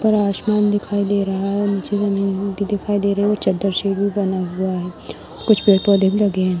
और आसमान दिखाई दे रहा है नीचे में दिखाई दे रही है | चदर से भी बना हुआ है | कुछ पेड़-पौधे भी लगे हैं ।